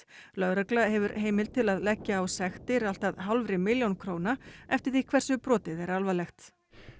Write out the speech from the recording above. lögregla hefur heimild til að leggja á sektir allt að hálfri milljón króna eftir því hversu brotið er alvarlegt